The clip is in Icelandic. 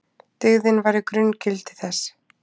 Dyggðin væri grunngildi þess.